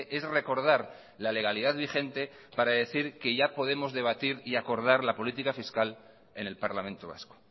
es recordar la legalidad vigente para decir que ya podemos debatir y acordar la política fiscal en el parlamento vasco